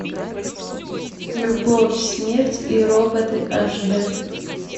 любовь смерть и роботы аш д